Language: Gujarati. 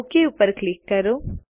ઓક પર ક્લિક કરો